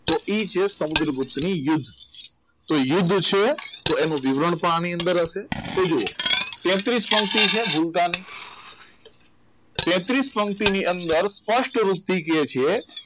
તો એ જ છે સમુદ્રગુપ્તની યુદ્ધ તો યુદ્ધ છે તો એનો વિવરણ પણ આની અંદર હશે તો જુઓ તેત્રિસ પંક્તિ છે ગુણગાનની તેત્રિસ પંક્તિની અંદર સ્પષ્ટ રૂપથી કહે છે